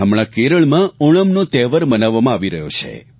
હમણાં કેરળમાં ઓણમનો તહેવાર મનાવવામાં આવી રહ્યો છે